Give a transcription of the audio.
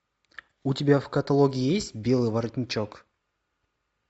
у тебя в каталоге есть белый воротничок